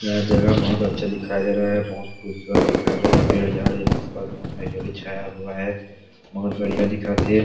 यह जगह बहुत अच्छा दिखाई दे रहा हैं बहुत खूबसूरत दिखाई दे रहा हैं पेड़ झाड़ हैं आसपास बहुत हाएज भी छाया हुआ हैं बहुत बढ़िया दिखत हे।